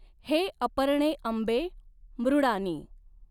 हे अपर्णे अंबे मृडानी।